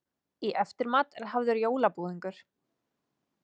Í eftirmat er hafður jólabúðingur.